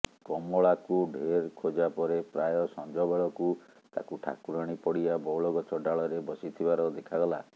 କମଳାକୁ ଢେର୍ ଖୋଜା ପରେ ପ୍ରାୟ ସଞ୍ଜବେଳକୁ ତାକୁ ଠାକୁରାଣୀ ପଡ଼ିଆ ବଉଳଗଛ ଡାଳରେ ବସିଥିବାର ଦେଖାଗଲା